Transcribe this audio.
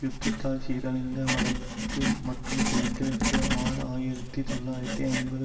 யுத்தத்தால் சீரழிந்த வடக்கு மற்றும் கிழக்கில் இருந்து ஆறு ஆயிரத்தி தொள்ளாயிரத்தி ஐம்பது